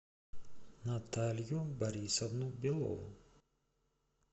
наталью борисовну белову